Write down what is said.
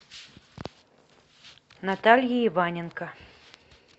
наталья иваненко